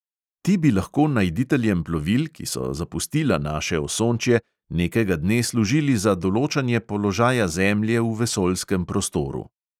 Ti bi lahko najditeljem plovil, ki so zapustila naše osončje, nekega dne služili za določanje položaja zemlje v vesoljskem prostoru.